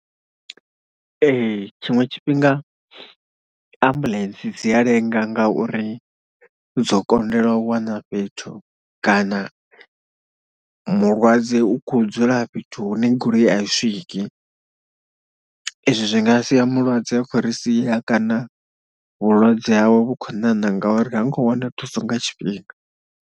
Ee tshiṅwe tshifhinga ambuḽentse dzi a lenga ngauri dzo konḓelwa u wana fhethu kana mulwadze u khou dzula fhethu hune goloi a i swiki. Izwi zwi nga sia mulwadze a khou ri sia kana vhulwadze hawe vhu kho ṋaṋa ngauri ha ngo wana thuso nga tshifhinga.